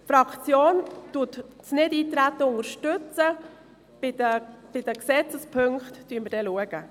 Die EDUFaktion unterstützt das Nichteintreten, und bei den Gesetzespunkten werden wir dann sehen.